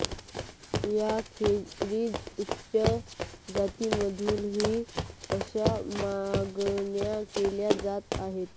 याखेरीज उच्च जातींमधूनही अशा मागण्या केल्या जात आहेत